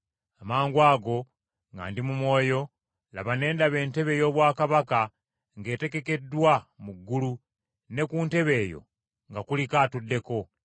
Amangwago, nga ndi mu mwoyo, laba, ne ndaba entebe ey’obwakabaka ng’etegekeddwa mu ggulu, ne ku ntebe eyo nga kuliko atuddeko.